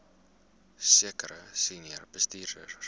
sekere senior bestuurders